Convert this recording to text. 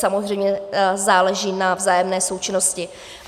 Samozřejmě záleží na vzájemné součinnosti.